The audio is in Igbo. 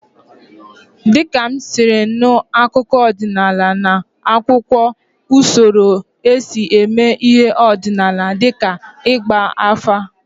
Dịka m siri nụ, akụkọ ọdịnala na-akọwakwa usoro esi eme ihe ọdịnala dịka ịgba afa.